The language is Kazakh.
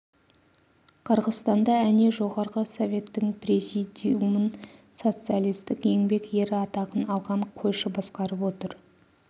қырғызстанда әне жоғарғы советтің президиумн социалистк еңбек ері атағын алған қойшы басқарып отыр